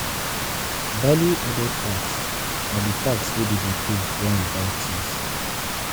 Value Added Tax na di tax wey we dey pay when we buy things